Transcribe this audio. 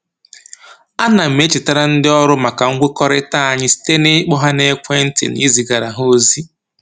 A na m echetara ndị ọrụ maka mkwekọrịta anyị site na-ịkpọ ha n'ekwentị na izigara ha ozi